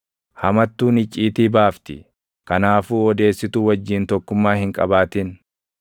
Hamattuun icciitii baafti; kanaafuu odeessituu wajjin tokkummaa hin qabaatin.